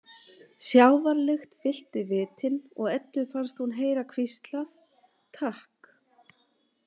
Sjávarlykt fyllti vitin og Eddu fannst hún heyra hvíslað: „Takk“